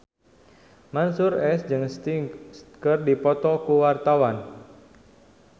Mansyur S jeung Sting keur dipoto ku wartawan